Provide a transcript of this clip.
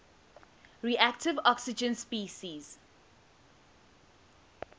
reactive oxygen species